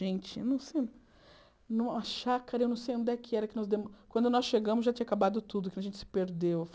Gente, não sei... Numa chácara, eu não sei onde é que era que nós demos... Quando nós chegamos, já tinha acabado tudo, que a gente se perdeu.